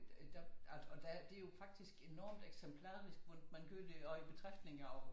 Øh der og der det jo faktisk enormt eksemplarisk hvordan man gør det og i betragtning af